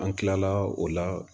An kilala o la